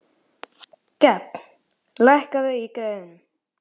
Gefn, lækkaðu í græjunum.